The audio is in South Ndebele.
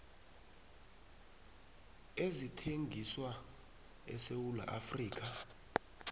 ezithengiswa esewula afrika